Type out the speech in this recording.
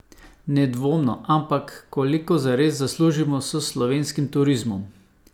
Nedvomno, ampak koliko zares zaslužimo s slovenskim turizmom?